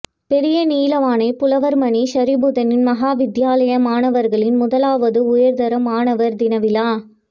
பெரியநீலாவணை புலவர்மணி ஷரிபுத்தின் மகாவித்தியாலய மாணவர்களின் முதலாவது உயர்தர மாணவர் தின விழா